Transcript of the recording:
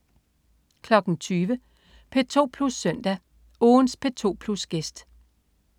20.00 P2 Plus Søndag. Ugens P2 Plus-gæst